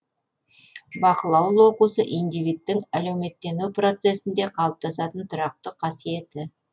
бақылау локусы индивидтің әлеуметтену процесінде қалыптасатын тұрақты қасиеті